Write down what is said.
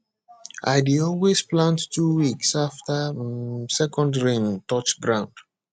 i dey always plant two weeks after um second rain touch ground